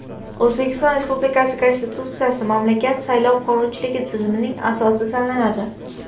O‘zbekiston Respublikasi Konstitutsiyasi mamlakat saylov qonunchiligi tizimining asosi sanaladi.